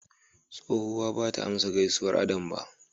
Tsohuwa bata amsa gaisuwar Adam ba.